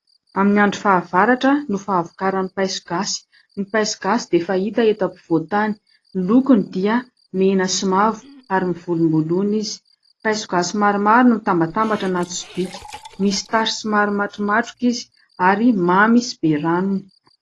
Amin'ny andro fahavaratra no fahavokaran'ny paiso gasy. Ny paiso gasy dia fahita eto afovoantany, ny lokony dia mena sy mavo ary mivolomboloina izy. Paiso gasy maromaro no mitambatambatra anaty sobika, misy tasy somary matromatroka izy ary mamy sy be ranony.